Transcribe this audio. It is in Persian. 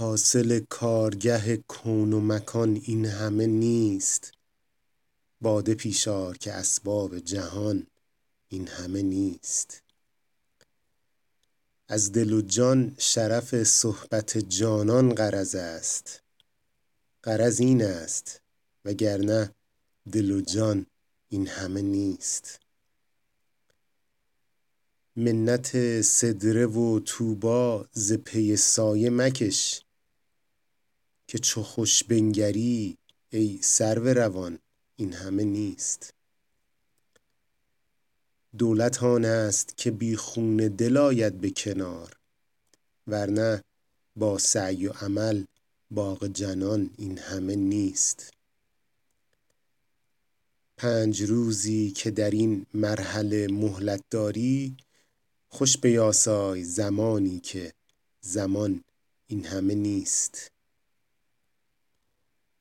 حاصل کارگه کون و مکان این همه نیست باده پیش آر که اسباب جهان این همه نیست از دل و جان شرف صحبت جانان غرض است غرض این است وگرنه دل و جان این همه نیست منت سدره و طوبی ز پی سایه مکش که چو خوش بنگری ای سرو روان این همه نیست دولت آن است که بی خون دل آید به کنار ور نه با سعی و عمل باغ جنان این همه نیست پنج روزی که در این مرحله مهلت داری خوش بیاسای زمانی که زمان این همه نیست